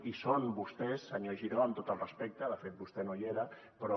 i són vostès senyor giró amb tot el respecte de fet vostè no hi era però